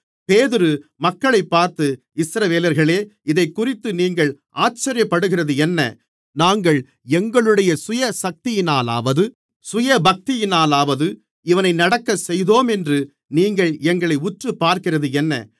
பேதுரு மக்களைப் பார்த்து இஸ்ரவேலர்களே இதைக்குறித்து நீங்கள் ஆச்சரியப்படுகிறதென்ன நாங்கள் எங்களுடைய சுயசக்தியினாலாவது சுயபக்தியினாலாவது இவனை நடக்க செய்தோமென்று நீங்கள் எங்களை உற்றுப்பார்க்கிறதென்ன